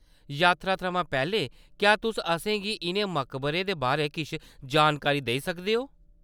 यात्रा थमां पैह्‌‌‌लें, क्या तुस असेंगी इʼनें मकबरें दे बारै किश जानकारी देई सकदे ओ?